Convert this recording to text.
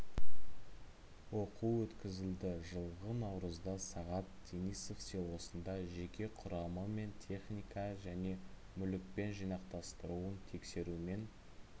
оқу өткізілді жылғы наурызда сағат денисов селосында жеке құрамы мен техника және мүлікпен жинақтастыруын тексерумен